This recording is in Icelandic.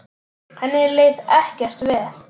Henni leið ekkert vel.